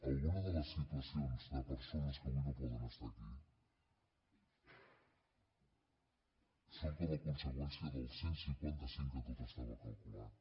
alguna de les situacions de persones que avui no poden estar aquí són com a conseqüència del cent i cinquanta cinc que tot estava calculat